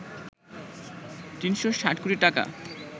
৩৬০ কোটি টাকা